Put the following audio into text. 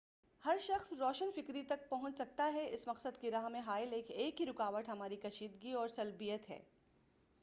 ہر شخص روشن فکری تک پہونچ سکتا ہے اس مقصد کی راہ میں حائل ایک ہی رکاوٹ ہماری کشیدگی اور سلبیّت ہے